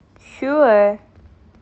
хюэ